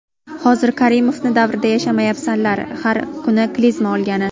Hozir Karimovni davrida yashamayapsanlar, har kuni klizma olgani.